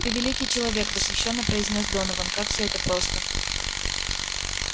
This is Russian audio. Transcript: ты великий человек восхищённо произнёс донован как все это просто